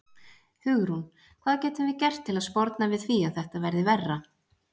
Hugrún: Hvað getum við gert til að sporna við því að þetta verði verra?